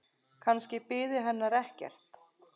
Kannski biði hennar ekkert.